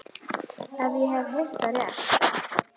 Ef ég hef heyrt það rétt.